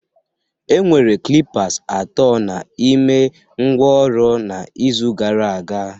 Enwere calipers atọ n'ime igbe ngwá ọrụ n'izu gara aga